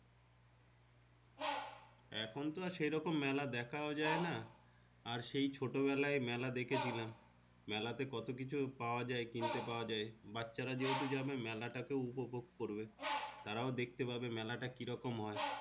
এখন তো আর সেই রকম মেলা দেখা যাই না আর সেই ছোট বেলাই মেলা দেখে ছিলাম মেলা তে কত কিছু পাওয়া যাই কিনতে পাওয়া যাই বাচ্চারাযেহেতু যাবে মেলা টাকে উপভোগ করবে তারাও দেখতে পাবে মেলা তা কি রকম হয়।